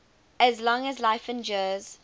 as long as life endures